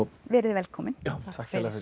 verið þið velkomin takk kærlega fyrir